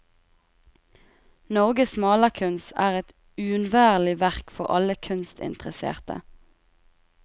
Norges malerkunst er et uunnværlig verk for alle kunstinteresserte.